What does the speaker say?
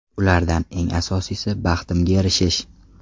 Ulardan eng asosiysi – baxtimga erishish.